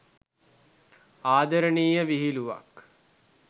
ආදරණීය විහිළුවක්.